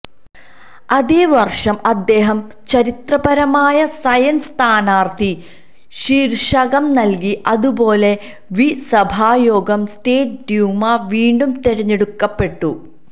അതേ വർഷം അദ്ദേഹം ചരിത്രപരമായ സയൻസ് സ്ഥാനാർത്ഥി ശീർഷകം നൽകി അതുപോലെ വി സഭായോഗം സ്റ്റേറ്റ് ഡ്യൂമ വീണ്ടും തിരഞ്ഞെടുക്കപ്പെട്ടു